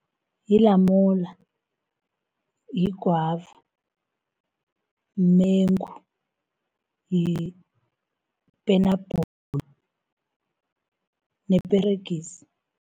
Yilamula , yigwava, mumengu, yipenapula neperegisi.